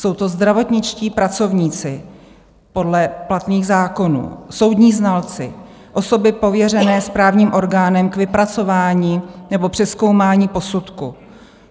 Jsou to zdravotničtí pracovníci podle platných zákonů, soudní znalci, osoby pověřené správním orgánem k vypracování nebo přezkoumání posudku.